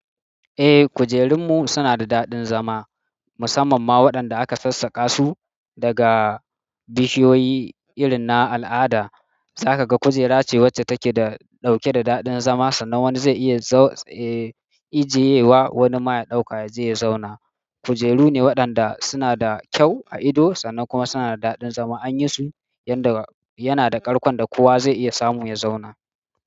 Eh, kujerun mu suna da daɗin zama musamman ma waɗanda aka sassaka su daga bishiyoyi irin na al'ada. Zaka ga kujera ce wacce take da, ɗauke da daɗin zama sannan wani zai iya, eh, ajiyewa wani ma ya ɗauka ya je ya zauna. Kujeru ne waɗanda suna da kyau a ido sannan kuma suna da daɗin zama. An yi su yanda yana da ƙarƙon da kowa zai iya samu ya zauna.